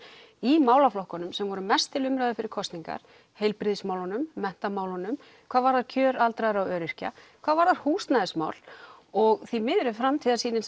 í málaflokkunum sem voru mest til umræðu fyrir kosningar heilbrigðismálunum menntamálunum hvað varðar kjör aldraðra og öryrkja hvað varðar húsnæðismál og því miður er framtíðarsýnin